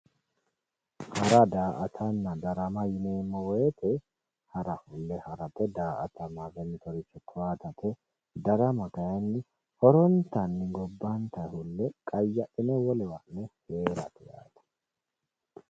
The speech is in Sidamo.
Hara, da"aattanna darama yineemmo woyte harama da"aattate darama kayinni horontanni gobbatenni fulle qayadhine ha'ne wolewa heerate yaate